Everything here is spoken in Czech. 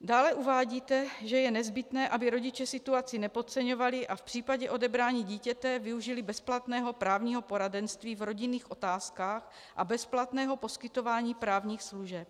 Dále uvádíte, že je nezbytné, aby rodiče situaci nepodceňovali a v případě odebrání dítěte využili bezplatného právního poradenství v rodinných otázkách a bezplatného poskytování právních služeb.